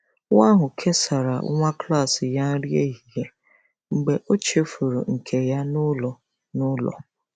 Nwa ahụ kesara nwa klas ya nri ehihie mgbe ọ chefuru nke ya n’ụlọ. n’ụlọ.